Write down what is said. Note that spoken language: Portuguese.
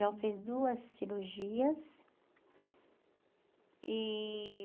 Já fez duas cirurgias. E